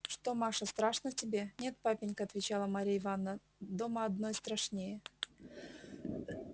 что маша страшно тебе нет папенька отвечала марья ивановна дома одной страшнее